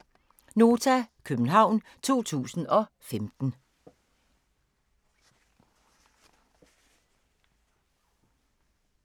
(c) Nota, København 2015